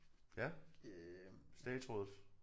Ja statsrådet?